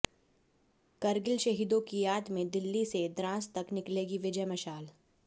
करगिल शहीदों की याद में दिल्ली से द्रास तक निकलेगी विजय मशाल